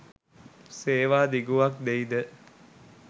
සේවා දිගුවක් දෙයි ද